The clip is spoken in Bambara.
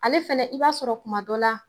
Ale fɛnɛ i b'a sɔrɔ kuma dɔ la